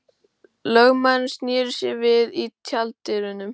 Lögmaðurinn sneri sér við í tjalddyrunum.